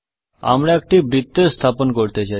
আমি একটি বৃত্ত স্থাপন করতে চাই